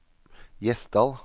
Gjesdal